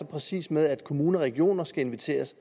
præcis med at kommuner og regioner skal inviteres